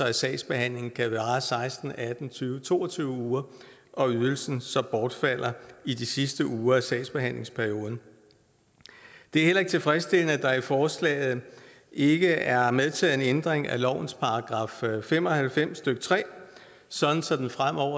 at sagsbehandlingen kan vare seksten atten tyve to og tyve uger og ydelsen så bortfalder i de sidste uger af sagsbehandlingsperioden det er heller ikke tilfredsstillende at der i forslaget ikke er medtaget en ændring af lovens § fem og halvfems stykke tre sådan sådan